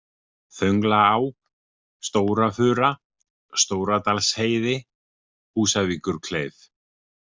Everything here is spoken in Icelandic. Þönglaá, Stóra-Fura, Stóradalsheiði, Húsavíkurkleif